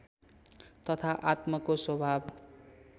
तथा आत्मको स्वभाव